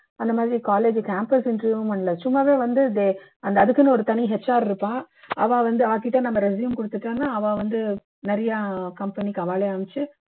அந்த மாதிரி college campus interview னும் இல்ல சும்மாவே வந்து they அதுக்குன்னு ஒரு தனி HR இருப்பா அவா வந்து அவாகிட்ட நம்ம resume கொடுத்துட்டோம்னா அவா வந்து அவாளே நிறைய company க்கு அவாளே அமுச்சு